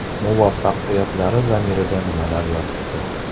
Muvaffaqiyatlari zamirida nimalar yotibdi?